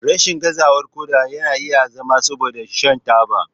Rashin gazawar koda yana iya zama saboda shan taba.